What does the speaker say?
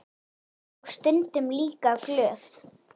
Og stundum líka glöð.